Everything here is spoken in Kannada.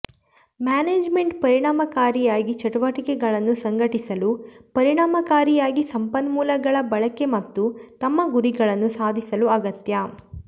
ಮ್ಯಾನೇಜ್ಮೆಂಟ್ ಪರಿಣಾಮಕಾರಿಯಾಗಿ ಚಟುವಟಿಕೆಗಳನ್ನು ಸಂಘಟಿಸಲು ಪರಿಣಾಮಕಾರಿಯಾಗಿ ಸಂಪನ್ಮೂಲಗಳ ಬಳಕೆ ಮತ್ತು ತಮ್ಮ ಗುರಿಗಳನ್ನು ಸಾಧಿಸಲು ಅಗತ್ಯ